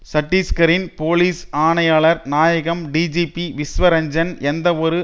சட்டிஸ்காரின் police ஆணையாளர் நாயகம் DGP Vishwa Ranjan எந்தவொரு